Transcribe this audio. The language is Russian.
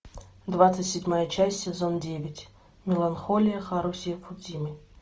двадцать седьмая часть сезон девять меланхолия харухи судзумии